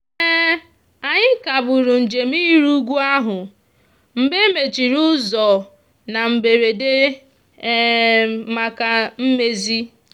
anyị kagburu njem iri ugwu ahụ mgbe e mechiri ụzọ na mberede maka mmezi.